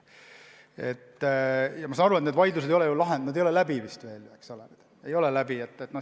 Ma saan aru, et need vaidlused ei ole veel läbi, eks ole.